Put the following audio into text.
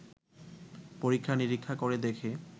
পরীক্ষা নিরীক্ষা করে দেখে